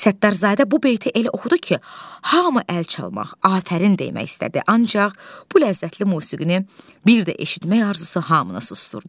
Səttarzadə bu beyti elə oxudu ki, hamı əl çalmaq, afərin demək istədi, ancaq bu ləzzətli musiqini bir də eşitmək arzusu hamını susdurdu.